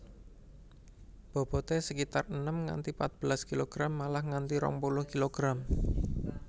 Bobote sekitar enem nganti patbelas kilogram malah nganti rong puluh kilogram